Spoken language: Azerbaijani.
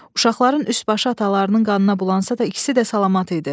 Uşaqların üst-başı atalarının qanına bulansa da ikisi də salamat idi.